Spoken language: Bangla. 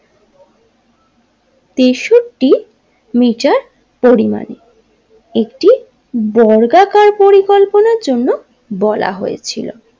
তেষট্টি মিটার পরিমান একটি বর্গাকার পরিকল্পনার জন্য বলা হয়েছিল।